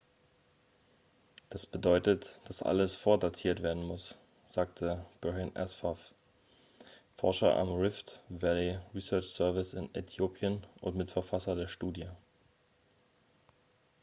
das bedeutet dass alles vordatiert werden muss sagte berhane asfaw forscher am rift valley research service in äthiopien und mitverfasser der studie